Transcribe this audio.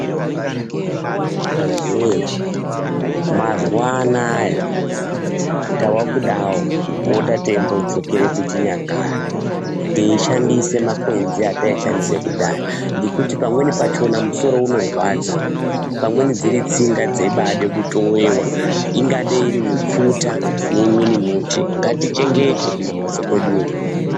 Anthu wee mazuwa anaya tava kudawo kupota teidzokere kuchinyakare teishandise makwenzi etaishandise kudhaya ngekuti pamweni pachona musoro unorwadza pamweni dziri tsinga dzeibaade kutowewa ingadei iri mipfuta neimweni muti ngatichengete kumambatso kweduyo.